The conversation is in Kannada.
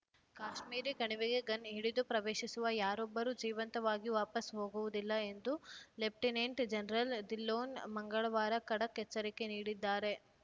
ಕಾಶ್ಮೀರಿ ಕಣಿವೆಗೆ ಗನ್‌ ಹಿಡಿದು ಪ್ರವೇಶಿಸುವ ಯಾರೊಬ್ಬರೂ ಜೀವಂತವಾಗಿ ವಾಪಸ್‌ ಹೋಗುವುದಿಲ್ಲ ಎಂದು ಲೆಫ್ಟಿನೆಂಟ್‌ ಜನರಲ್‌ ಧಿಲ್ಲೋನ್‌ ಮಂಗಳವಾರ ಖಡಕ್‌ ಎಚ್ಚರಿಕೆ ನೀಡಿದ್ದಾರೆ